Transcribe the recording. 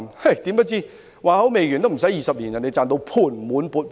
誰料不出20年，他已賺到盤滿缽滿。